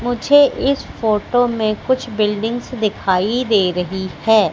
मुझे इस फोटो में कुछ बिल्डिंग्स दिखाई दे रही है।